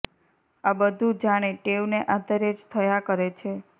આ બધું જાણે ટેવને આધારે જ થયા કરે છે